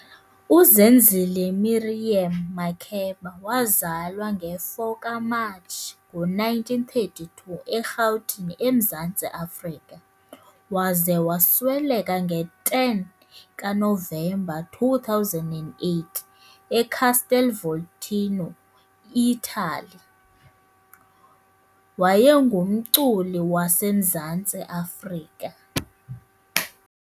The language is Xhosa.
UZenzile Miriam Makeba wazalwa Nge4 kaMatshi ngo-1932, eRhawutini, eMzantsi Afrika - waze wasweleka nge-ten kaNovemba 2008, eCastel Volturno, Ithali - waye ngumculi waseMzantsi Afrika.